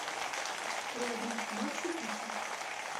рядом макси пицца